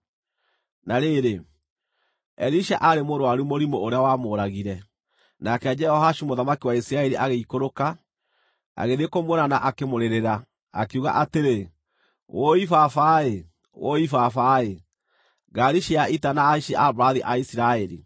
Na rĩrĩ, Elisha aarĩ mũrũaru mũrimũ ũrĩa wamũũragire. Nake Jehoashu mũthamaki wa Isiraeli agĩikũrũka, agĩthiĩ kũmuona na akĩmũrĩrĩra. Akiuga atĩrĩ, “Wũi baba-ĩ! Wũi baba-ĩ! Ngaari cia ita na ahaici a mbarathi a Isiraeli!”